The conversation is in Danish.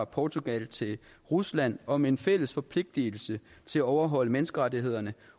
portugal til rusland om en fælles forpligtelse til at overholde menneskerettighederne